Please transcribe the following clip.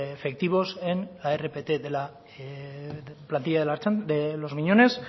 efectivos en la rpt de la plantilla de los miñones